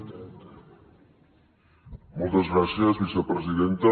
moltes gràcies vicepresidenta